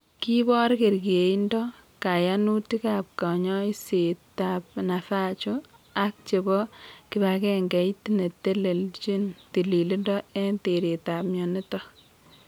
Kiibor kerkeindo kayanutikab kanyoisetab Navajo ak chebo kibagengeit neteleldojin tililindo eng' teretab mionitok